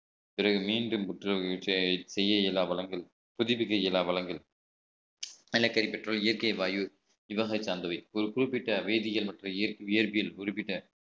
பிறகு மீண்டும் புற்றுநோய் செய்ய இயலாத வளங்கள் புதுப்பிக்க இயலாத வளங்கள் நிலக்கரி petrol இயற்கை வாயு இவ்வகை சார்ந்தவை ஒரு குறிப்பிட்ட வேதியியல் மற்றும் இயற்பியல் குறிப்பிட்ட